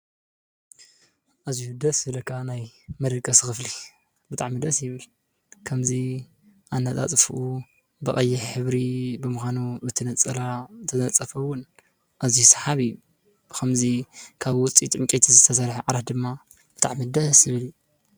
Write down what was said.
አዝዪ ደስ ዝብለካ ናይ መደቀሲ ክፍሊ ብጣዕሚ ደስ ይብል ከምዚ አነፃፅፍኡ ብቀይሕ ሕብሪ ብምኻኑ በቲ ነፀላ ዝተነፀፈ ዉን አዝዪ ሰሓቢ ከምዚ ካብ ዉፅኢት ዕንፀይቲ ዝተሰርሐ እቲ ዓራት ድማ ብጣዕሚ ደስ ዝብል እዪ ።